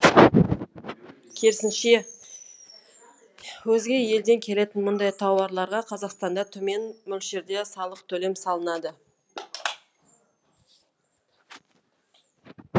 керісінше өзге елден келетін мұндай тауарларға қазақстанда төмен мөлшерде салық төлемі салынады